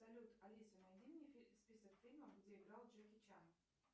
салют алиса найди мне список фильмов где играл джеки чан